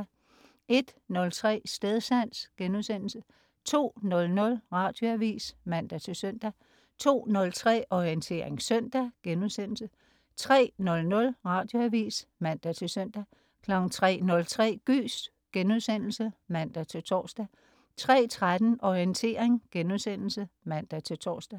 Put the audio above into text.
01.03 Stedsans* 02.00 Radioavis (man-søn) 02.03 Orientering søndag* 03.00 Radioavis (man-søn) 03.03 Gys* (man-tors) 03.13 Orientering* (man-tors)